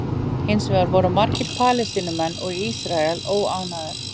hins vegar voru margir palestínumenn og ísraelar óánægðir